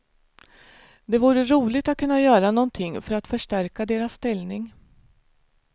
Det vore roligt att kunna göra någonting för att förstärka deras ställning.